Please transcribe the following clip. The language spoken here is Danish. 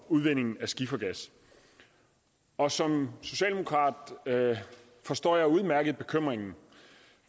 udvinding af skifergas og som socialdemokrat forstår jeg udmærket bekymringen